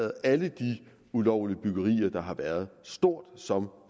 alle de ulovlige byggerier der har været stort som